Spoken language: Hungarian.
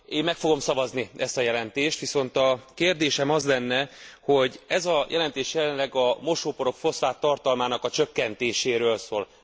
Én meg fogom szavazni ezt a jelentést, viszont a kérdésem az lenne, hogy ez a jelentés jelenleg a mosóporok foszfáttartalmának a csökkentéséről szól.